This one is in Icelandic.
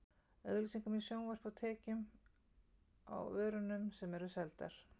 Auglýsingum í sjónvarpi og tekjum á vörunum sem eru seldar.